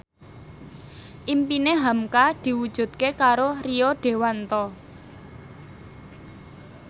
impine hamka diwujudke karo Rio Dewanto